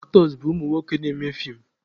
Aktọs bụ umunwoke na-eme feem.